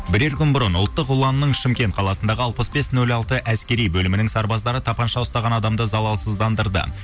бірер күн бұрын ұлттық ұланның шымкент қаласындағы алпыс бес нөл алты әскери бөлімінің сарбаздары тапанша ұстаған адамды залалсыздандырды